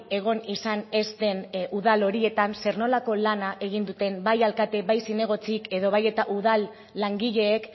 egon izan ez den udal horietan zer nolako lana egin duten bai alkate bai zinegotzi edo bai eta udal langileek